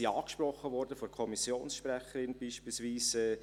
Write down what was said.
sie wurden von der Kommissionssprecherin angesprochen.